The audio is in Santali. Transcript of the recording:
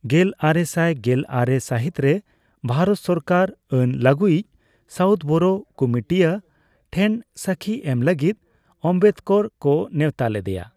ᱜᱮᱞᱟᱨᱮᱥᱟᱭ ᱜᱮᱞᱟᱨᱮ ᱥᱟᱹᱦᱤᱛ ᱨᱮ ᱵᱷᱟᱨᱚᱛ ᱥᱚᱨᱠᱟᱨ ᱟᱹᱱ ᱞᱟᱹᱜᱩᱭᱤᱡ ᱥᱟᱣᱩᱛᱷᱵᱚᱨᱚ ᱠᱩᱢᱩᱴᱤᱭᱟᱹ ᱴᱷᱮᱱ ᱥᱟᱹᱠᱷᱤ ᱮᱢ ᱞᱟᱹᱜᱤᱫ ᱟᱢᱵᱮᱫᱠᱚᱨ ᱠᱚ ᱱᱮᱣᱛᱟ ᱞᱮᱫᱮᱭᱟ ᱾